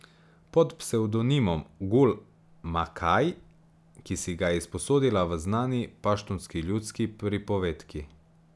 Pod psevdonimom Gul Makai, ki si ga je izposodila v znani paštunski ljudski pripovedki.